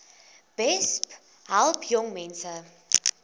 besp help jongmense